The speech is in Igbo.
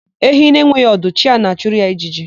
Ehi na-enweghị ọdụ, chi ya na-achụrụ ya ijiji.